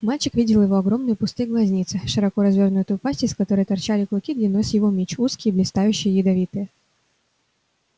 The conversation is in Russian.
мальчик видел его огромные пустые глазницы широко развёрнутую пасть из которой торчали клыки длиной с его меч узкие блистающие ядовитые